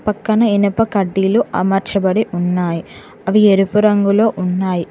పక్కన ఇనుప కడ్డీలు అమర్చబడి ఉన్నాయ్ అవి ఎరుపు రంగులో ఉన్నాయ్.